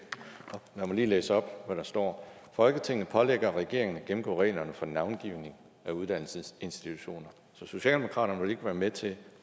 lad mig lige læse op hvad der står folketinget pålægger regeringen at gennemgå reglerne for navngivning af uddannelsesinstitutioner socialdemokratiet vil ikke være med til